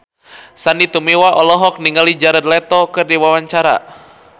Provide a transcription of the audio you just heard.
Sandy Tumiwa olohok ningali Jared Leto keur diwawancara